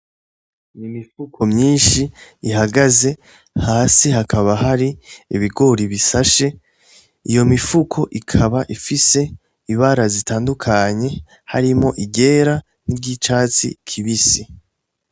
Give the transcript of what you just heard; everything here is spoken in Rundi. Imifuko myinshi ihagaze hasi hakaba hari ibigori bisashe, iyo mifuko ikaba ifise ibara zitandukanye hakaba harimwo iryera n'iryicatsi kibisi.